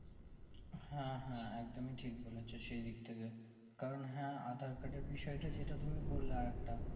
হ্যাঁ হ্যাঁ একদমই ঠিক বলেছো সেই দিক থেকে কারণ হ্যাঁ aadhaar card আর বিষয় তা যেটা তুমি বললা আরেকটা